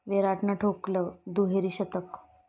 विराटनं ठोकलं दुहेरी शतक